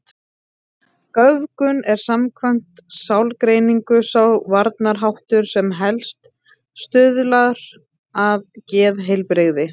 Göfgun er samkvæmt sálgreiningu sá varnarháttur sem helst stuðlar að geðheilbrigði.